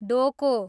डोको